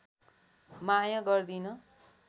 माया गर्दिन